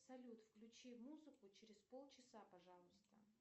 салют включи музыку через полчаса пожалуйста